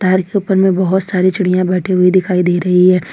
तार के ऊपर में बहुत सारी चिड़िया बैठी हुई दिखाई दे रही है।